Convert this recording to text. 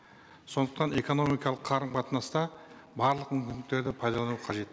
сондықтан экономикалық қарым қатынаста барлық мүмкіндіктерді пайдалану қажет